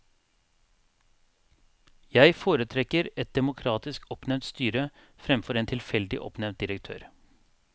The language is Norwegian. Jeg foretrekker et demokratisk oppnevnt styre fremfor en tilfeldig oppnevnt direktør.